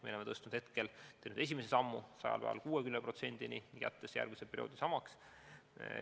Me oleme selle tõstnud esimese sammuna esimesel 100 päeval 60%-ni ja jätnud järgmise perioodi määra samaks.